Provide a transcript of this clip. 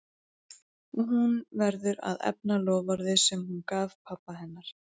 Og hún verður að efna loforðið sem hún gaf pabba hennar.